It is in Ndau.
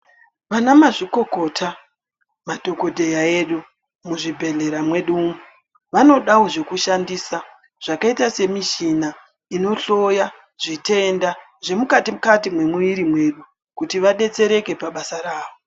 Vana mazvikokota madhogodheya edu muzvibhedhlera mwedu umwu. Vanodavo zvekushandisa zvakaita semichina zvinohloya zvitenda zvemukati-kati mwemumwiri mwedu kuti vabetsereke pabasaravo.